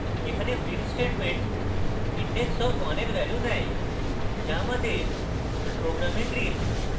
এখানে print statement index of 1 এর value নেয় যা আমাদের program green